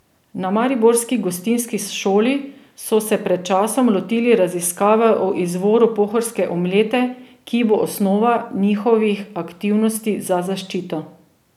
Na mariborski gostinski šoli so se pred časom lotili raziskave o izvoru pohorske omlete, ki bo osnova njihovih aktivnosti za zaščito.